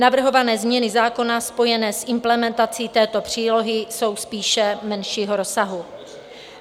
Navrhované změny zákona spojené s implementací této přílohy jsou spíše menšího rozsahu.